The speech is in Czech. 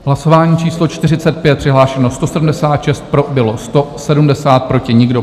Hlasování číslo 45, přihlášeno 176, pro bylo 170, proti nikdo.